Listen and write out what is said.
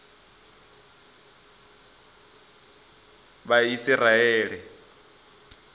vhaisiraele